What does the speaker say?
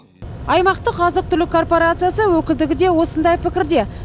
аймақтық азық түлік корпорациясы өкілдігі де осындай пікірде